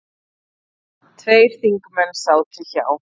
Tveir þingmenn sátu hjá.